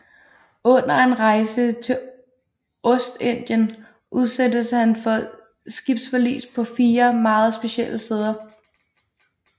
Under en rejse til Ostindien udsættes han for skibsforlis på fire meget specielle steder